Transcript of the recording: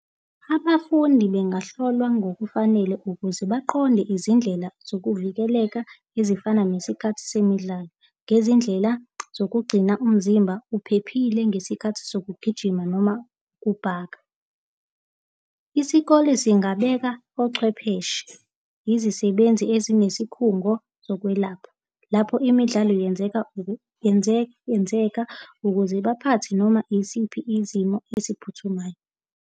Abafundi bengahlolwa ngokufanele ukuze baqonde izindlela zokuvikeleka ezifana nesikhathi semidlalo, ngezindlela zokugcina umzimba uphephile ngesikhathi sokugijima noma kubhaka. Isikole singabeka ochwepheshe, izisebenzi ezinesikhungo zokwelapha, lapho imidlalo yenzeka, yenzeka, ukuze baphathe noma isiphi izimo eziphuthumayo.